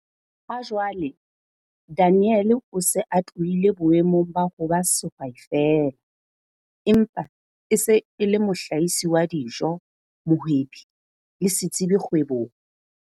Hajwale Daniel o se a tlohile boemong ba ho ba sehwai feela empa e se e le mohlahisi wa dijo, mohwebi le setsebi kgwebong.